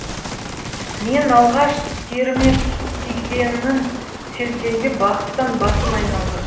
мен алғаш теріме су тигенін сезгенде бақыттан басым айналды